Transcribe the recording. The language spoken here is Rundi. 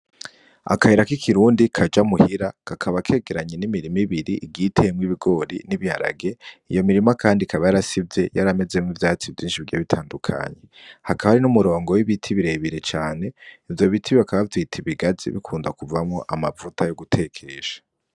Akayirak'ikirundi kaja muhira kakaba kegeranye n'imirima ibiri itewemwo ibigori n'ibiharage iyo mirima, kandi kaba yarasivye yaramezemwo vyatsi vyinshi bigiye bitandukanye hakaba hari n'umurongo w'ibiti birebire cane ivyo biti bakaba bavyita ibigazi bikunda kuvamo amavuta yo gutekesha.